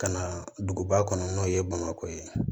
Ka na duguba kɔnɔ n'o ye bamakɔ ye